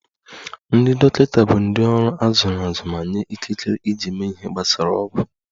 Ndị dọkịta bụ ndị ọrụ a zụrụ azụ ma nye ikikere iji mee ihe gbasara ọgwụ